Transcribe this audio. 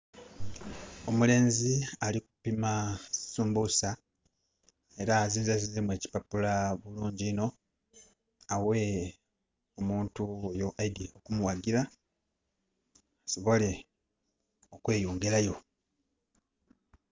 Omulenzi alikupima sumbusa era azinzezinzemu ekipapula bulungi inho aghe omuntu ghuyo eidhye okumughagira asobole okweyongerayo.